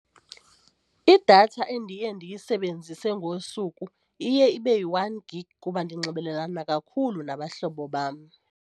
Idatha endiye ndiyisebenzise ngosuku iye ibe yi-one gig kuba ndinxibelelane kakhulu nabahlobo bam.